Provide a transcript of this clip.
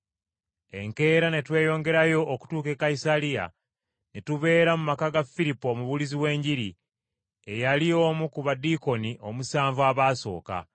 Enkeera ne tweyongerayo okutuuka e Kayisaliya, ne tubeera mu maka ga Firipo Omubuulizi w’Enjiri, eyali omu ku badiikoni omusanvu abaasooka.